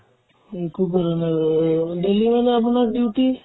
একো কৰা নাই এ এ daily মানে আপোনাৰ duty